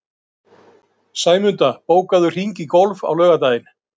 Sæmunda, bókaðu hring í golf á laugardaginn.